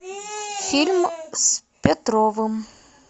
фильм с петровым